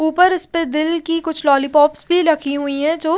ऊपर इसपे दिल की कुछ लॉलीपॉप्स भी रखी हुई है जो--